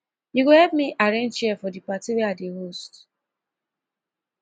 you go help me arrange chair for di party wey i dey host